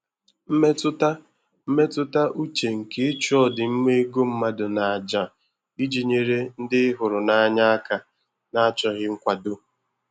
Mmetụta mmetụta uche nke ịchụ ọdịmma ego mmadụ n'àjà iji nyere ndị ị hụrụ n'anya aka n'achọghị nkwado.